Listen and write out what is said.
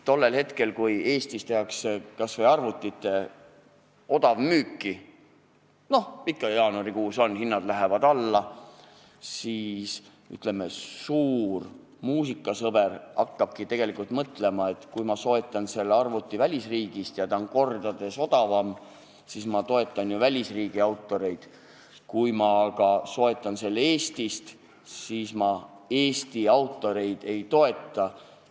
Tol hetkel, kui Eestis tehakse kas või arvutite odavmüüki – nagu ikka, jaanuarikuus, kui hinnad lähevad alla –, hakkabki suur muusikasõber mõtlema, et kui ma soetan arvuti välisriigist kordades odavamalt, siis ma toetan välisriigi autoreid, kui ma aga soetan selle Eestist, siis ma Eesti autoreid ei toeta.